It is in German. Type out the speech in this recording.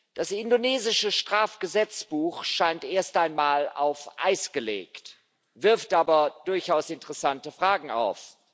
Das indonesische Strafgesetzbuch scheint erst einmal auf Eis gelegt, wirft aber durchaus interessante Fragen auf.